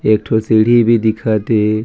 एक ठो सीढ़ी भी दिखत हे।